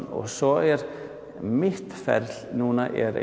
og svo er mitt ferli núna er